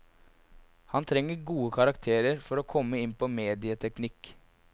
Han trenger gode karakterer for å komme inn på medieteknikk.